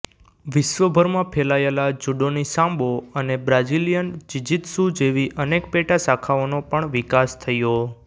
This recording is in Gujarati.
વિશ્વભરમાં ફેલાયેલાજુડોની સાંબો અને બ્રાઝિલિયન ઝિઝિત્સુ જેવી અનેક પેટા શાખાઓનો પણ વિકાસ થયો